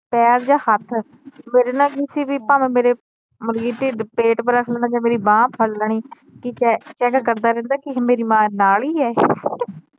ਪੈਰ ਜਾ ਹੱਥ ਮੇਰੇ ਨਾ ਕਿਸੀ ਵੀ ਭਾਵੇ ਮੇਰੇ ਮਤਲਬ ਕੇ ਟਿਡ ਪੇਟ ਜਾ ਮੇਰੀ ਬਾਂਹ ਫੜ ਲੈਣੀ ਕੀ ਕਹਿ ਕਰਦਾ ਰਹਿੰਦਾ ਕਿ ਮੇਰੀ ਮਾਂ ਨਾਲ ਈ ਏ